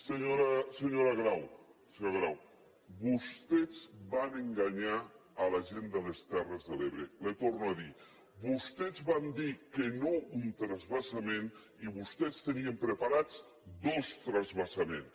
senyora grau vostès van enganyar la gent de les terres de l’ebre li ho torno a dir vostès van dir que no a un transvasament i vostès tenien preparats dos transvasaments